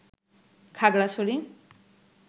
Khagrachari